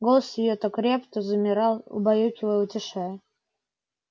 голос её то креп то замирал убаюкивая утешая